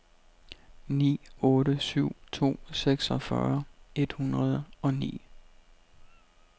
ni otte syv to seksogfyrre et hundrede og ni